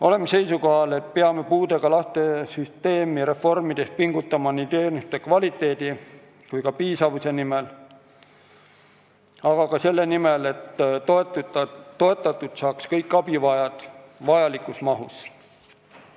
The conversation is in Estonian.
Oleme seisukohal, et peame puudega laste süsteemi reformides pingutama teenuste kvaliteedi ja piisavuse nimel, aga ka selle nimel, et toetatud saaks kõik abivajajad vajalikus mahus.